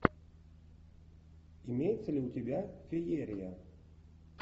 имеется ли у тебя феерия